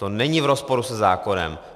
To není v rozporu se zákonem.